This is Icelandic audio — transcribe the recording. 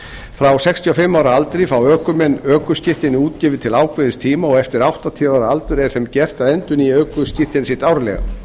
frá sextíu og fimm ára aldri fá ökumenn ökuskírteini útgefin til ákveðins tíma og eftir áttatíu ára aldur er þeim gert að endurnýja ökuskírteini sitt árlega